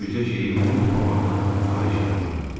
İndi bircə şeyi unutmamağını xahiş eləyirəm.